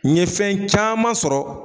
N ɲɛ fɛn caman sɔrɔ.